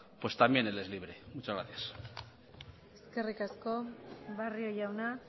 pues también él es libre muchas gracias eskerrik asko barrio jauna